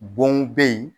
Bon bɛ yen